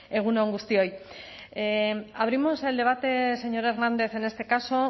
egun on guztioi abrimos el debate señor hernández en este caso